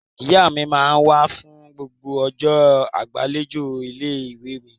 Ìyá mi máa ń wá fún gbogbo ọjọ́ ìgbàlejò ilé-ìwé mi.